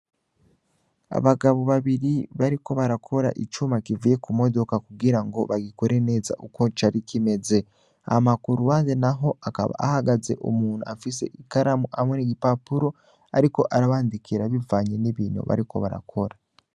Abagabo babiri bariko bakora icuma kivuye ku modoka kugira ngo bagikore neza uko cari kameze hama ku ruhande naho hakaba hahagaze umuntu afise ikaramu hamwe n' igipapuro ariko arabandikira bivanye n' ibintu bariko barakora.